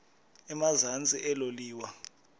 emazantsi elo liwa